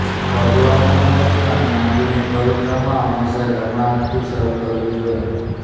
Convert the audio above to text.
ભગવાનની મૂર્તિ અને મંદિરની પરિક્રમા હંમેશા જમણા હાથથી શરૂ કરવી જોઈએ